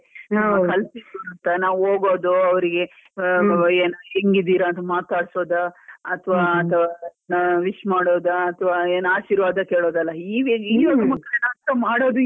ನಾವ್ ಕಲಿತಿದ್ದು ಅಂತ ನಾವು ಹೋಗೋದು, ಅವ್ರಿಗೆ ಹೆಂಗಿದೀರಾ ಅಂತ ಮಾತಾಡ್ಸೋದ? ಅತ್ವ wish ಮಾಡೋದ? ಅತ್ವ ಏನು ಆಶೀರ್ವಾದ ಕೇಳೋದೆಲ್ಲ. ಈಗಿನ ಮಕ್ಕಳು ಅಂತೂ ಮಾಡೋದಿಲ್ಲ.